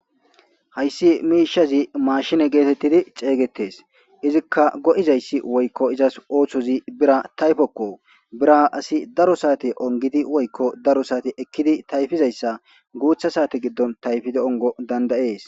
Hayssi miishazi maashine geetettidi ceygetes izikka go'izayssi woykko izas ooththozi bira tayfokko bira asi daro saate ongidi woykko daro saate ekkidi tayfizayssa guutha saate giddon tayfidi ongo dandayees.